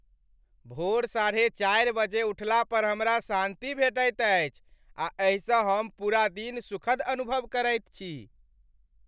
भोर साढ़े चारि बजे उठला पर हमरा शान्ति भेटैत अछि आ एहिसँ हम पूरा दिन सुखद अनुभव करैत छी।